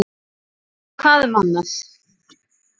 Og svona hvað um annað